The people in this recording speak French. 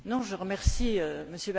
Je remercie M.